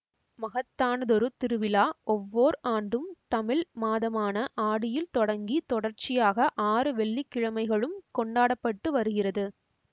மகத்தானதொரு திருவிழா ஒவ்வோர் ஆண்டும் தமிழ் மாதமான ஆடியில் தொடங்கி தொடர்ச்சியாக ஆறு வெள்ளிக்கிழமைகளும் கொண்டாட பட்டு வருகிறது